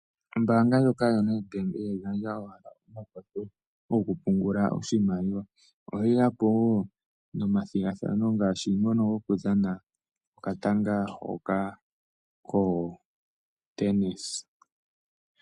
Ombaanga ndjoka yoNED BANK ihayi gandja owala omakwatho goku pungula oshimaliwa, ohayi yapo wo nomathigathano ngaashi ngono goku dhana okatanga koTennis.